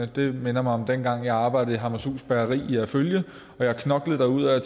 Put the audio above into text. det minder mig om dengang jeg arbejdede i hammershus bageri i herfølge og knoklede derudad